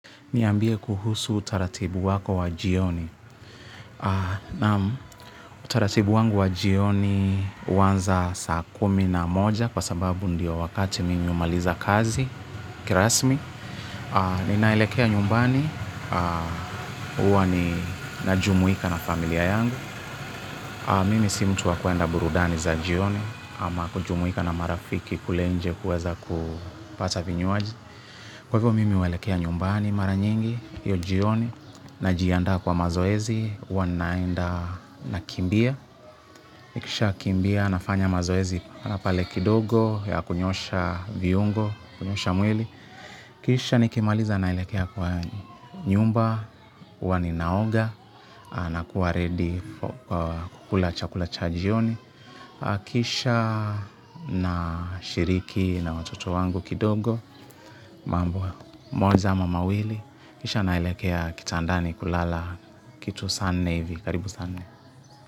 Niambie kuhusu utaratibu wako wa jioni. Nam utaratibu wangu wa jioni huanza saa kumi na moja kwa sababu ndiyo wakati mimi humaliza kazi, kirasmi. Ninaelekea nyumbani, uwa na jumuika na familia yangu. Mimi simtuwa kuenda burudani za jioni ama kujumuika na marafiki kule nje kuweza kupata vinyuaji. Kwa hivyo mimi huelekea nyumbani mara nyingi, hio jioni, najianda kwa mazoezi, hua naenda na kimbia. Nikisha kimbia nafanya mazoezi pale kidogo ya kunyosha viungo, kunyosha mwili. Kisha nikimaliza naelekea kwa nyumba hua ninaoga nakua ready kula chakula cha jioni. Kisha na shiriki na watoto wangu kidogo. Mambo moja ama mawili. Kisha naelekea kitandani kulala kitu sane hivi. Karibu saanne.